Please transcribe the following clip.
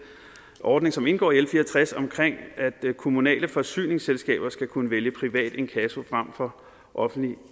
ordning som indgår i og tres om at kommunale forsyningsselskaber skal kunne vælge privat inkasso frem for offentlig